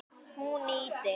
Hún ýtir